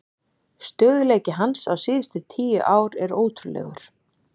Stöðugleiki hans síðustu tíu ár er ótrúlegur.